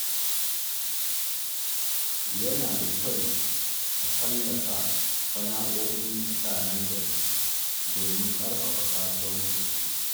Yana da kyau a tallata sana’o’in mutanen gari domin ƙarfafa kasuwancinsu.